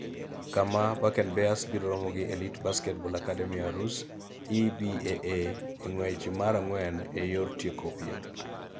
kama Bakken Bears biro romo gi Elite Basketball Akademi Aarhus (EBAA) e ng�wech mar ang'wen e yor tieko piem.